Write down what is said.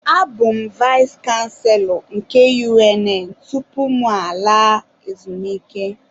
Abụ m Vais kanselọ nke UNN tụpụ mụ alaa ezumike